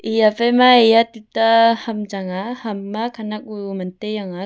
yaphaima eya tuta ham chang aa ham ma khanak uu mantai yangaa.